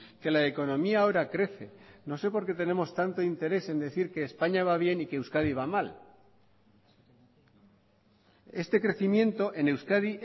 que la economía ahora crece no sé por qué tenemos tanto interés en decir que españa va bien y que euskadi va mal este crecimiento en euskadi